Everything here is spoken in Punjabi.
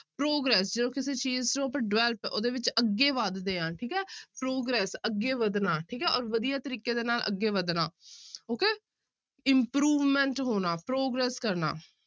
Progress ਜਦੋਂ ਕਿਸੇ ਚੀਜ਼ ਨੂੰ ਆਪਾਂ develop ਉਹਦੇ ਵਿੱਚ ਅੱਗੇ ਵੱਧਦੇ ਹਾਂ ਠੀਕ ਹੈ progress ਅੱਗੇ ਵੱਧਣਾ ਠੀਕ ਹੈ ਔਰ ਵਧੀਆ ਤਰੀਕੇ ਦੇ ਨਾਲ ਅੱਗੇ ਵੱਧਣਾ okay improvement ਹੋਣਾ progress ਕਰਨਾ।